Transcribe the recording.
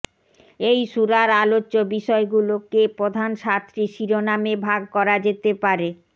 এই সূরার আলোচ্য বিষয়গুলোকে প্রধান সাতটি শিরোনামে ভাগ করা যেতে পারেঃ